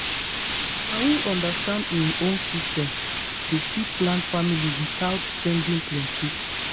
na who understand him own system dey fit plan family without spending plenty.